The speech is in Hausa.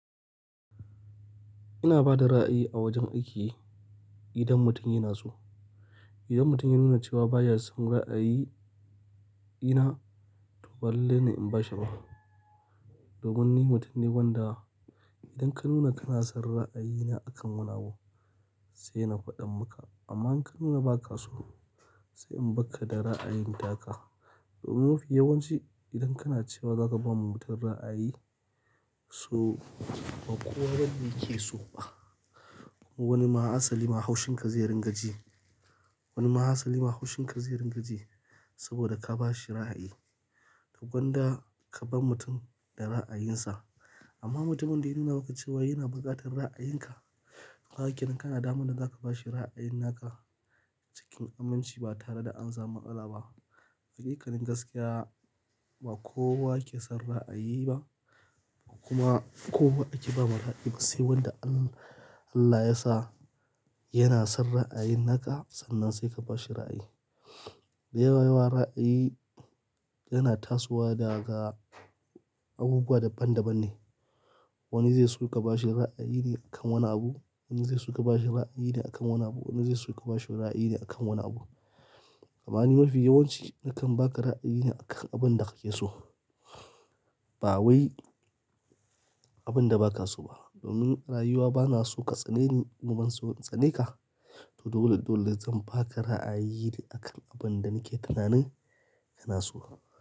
Ina ba da ra'ayi a wajen aiki idan mutum yana so. Idan mutum ya nuna cewa baya son ra'ayi idan to ba lallai ne in bashi ba domin ni mutum ne wanda idan ka nuna kana son ra'ayina akan wani abu sai na faɗa maka. Amma in ka nuna ba ka so sai in barka da ra'ayin taka. Domin mafi yawanci idan kana cewa zaka bama mutum ra'ayi so ba kowa bane yakeso ba wanima asalima haushinka zai ringaji saboda ka bashi ra'ayi. Gwanda kabar mutum da ra'ayinsa amma mutumen da ya nuna maka cewa yana buƙatar ra'ayinka kaga kenan kana da damar da zaka bashi ra'ayin naka cikin aminci ba tare da an samu matsala ba haƙiƙanin gaskiya ba kowa ke son ra'ayi ba kuma kowa ake baiwa ra'ayi ba sai wanda Allah ya sa yana son ra'ayin naka sannan sai ka ba shi ra'ayi. Da yawa ra'ayi yana tasowa daga abubuwa daban daban ne. Wani zaiso ka bashi ra'ayi ne kan wani abu, wani zaiso ka bashi ra'ayi ne a kan wani abu. Wani zaiso ka bashi ra'ayi ne a kan wani abu. Amma ni mafi yawanci nakan baka ra'ayi ne akan abinda kakeso ba wai akan abinda bakaso ba. Domin rayuwa banaso ka tsaneni, ni banso in tsaneka to dole-dole zan baka ra'ayi akan abinda nike tunani kana so.